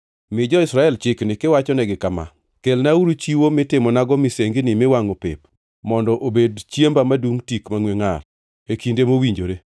“Mi jo-Israel chikni kiwachonegi kama: ‘Kelnauru chiwo mitimonago misengini miwangʼo pep mondo obed chiemba madum tik mangʼwe ngʼar e kinde mowinjore.’